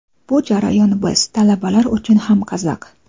Bu jarayon biz – talabalar uchun ham qiziq.